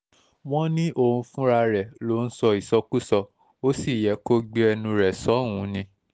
wọ́n ní òun fúnra rẹ̀ ló ń sọ ìsọkúsọ ó sì yẹ kó gbé ẹnu rẹ̀ sọ́hùn-ún ni